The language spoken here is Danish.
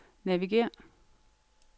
navigér